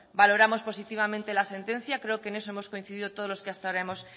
valoramos positivamente la sentencia creo que en eso hemos coincidido todos los que hasta ahora hemos